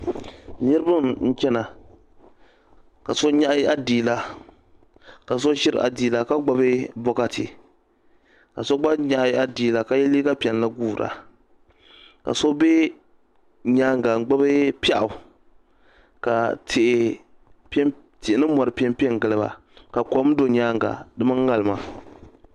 Niriba n chena ka so nyaɣi adiila ka so ʒiri adiila ka gbibi bokati ka so gba nyaɣi adiila ka ye liiga piɛlli guura ka so be nyaanga n gbibi piaɣu ka tihi ni mori piɛmpe n giliba ka kom be nyaanga di mini ŋarima.